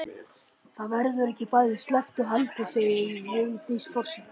Það verður ekki bæði sleppt og haldið segir Vigdís forseti.